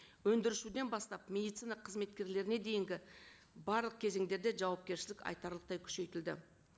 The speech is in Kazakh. өндірушіден бастап медицина қызметкерлеріне дейінгі барлық кезеңдерде жауапкершілік айтарлықтай күшейтілді